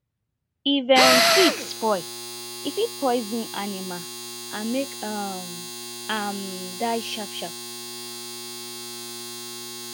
if um feed spoil e fit poison animal and make um am die sharp sharp